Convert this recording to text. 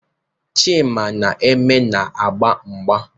Chima na Eme na-agba mgba.